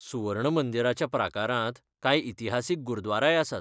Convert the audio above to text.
सुवर्ण मंदीराच्या प्राकारांत कांय इतिहासीक गुरद्वाराय आसात.